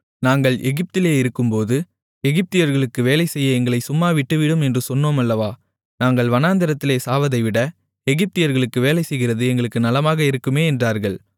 நாங்கள் எகிப்திலே இருக்கும்போது எகிப்தியர்களுக்கு வேலை செய்ய எங்களைச் சும்மா விட்டுவிடும் என்று சொன்னோம் அல்லவா நாங்கள் வனாந்திரத்திலே சாவதைவிட எகிப்தியர்களுக்கு வேலைசெய்கிறது எங்களுக்கு நலமாக இருக்குமே என்றார்கள்